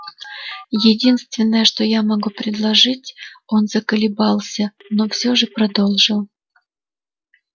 единственное что я могу предложить он заколебался но всё же продолжил